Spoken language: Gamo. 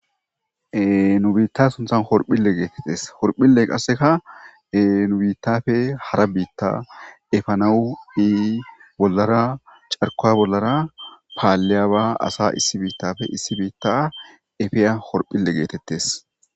nu biitta sunthan horphille geetettes horphille qasseka e nu biittafe hara biitta efanawu ii bollara carkoa bollara paalliyaba asa issi biittafe issi biitta efeya horphille geetettes.